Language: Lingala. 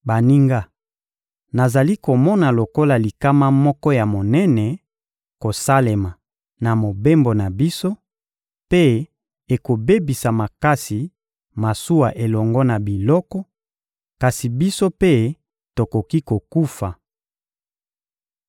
— Baninga, nazali komona lokola likama moko ya monene kosalema na mobembo na biso, mpe ekobebisa makasi masuwa elongo na biloko, kasi biso mpe tokoki kokufa.